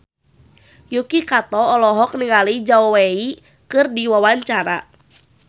Yuki Kato olohok ningali Zhao Wei keur diwawancara